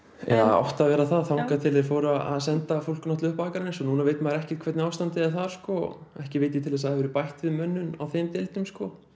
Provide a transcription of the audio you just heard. átti að vera það þangað til þeir fóru að senda fólk upp á Akranes og núna veit maður ekkert hvernig ástandið er þar ekki veit ég til þess að það hafi verið bætt við mönnun á þeim deildum